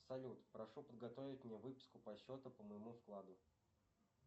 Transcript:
салют прошу подготовить мне выписку по счету по моему вкладу